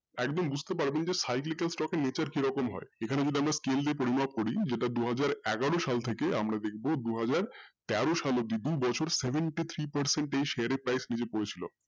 একদম বুঝতে পারবেন যে stock এর কীরকম nature হয় এখানে যদি আমরা scale দিয়ে পরিমাপ করি যেটা দুহাজার এগারো সাল থেকে আমরা দেখব দুহাজার তেরো সাল অব্দি দু বছর seventy three percent এ share এর price নীচে পড়েছিলো।